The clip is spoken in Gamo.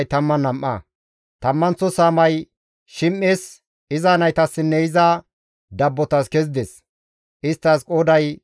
Tammanththo saamay Shim7es, iza naytassinne iza dabbotas kezides; isttas qooday 12.